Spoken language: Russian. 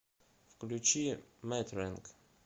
включи мэтрэнг